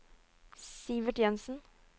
Sivert Jensen